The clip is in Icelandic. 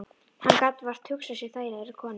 Hann gat vart hugsað sér þægilegri konu.